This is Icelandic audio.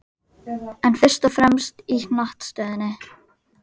En fyrst og fremst í hnattstöðunni.